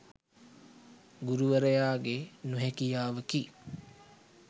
ගුරුවරයාගේ නොහැකියාවකි.